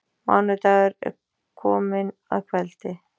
Mánudagur er kominn að kveldi.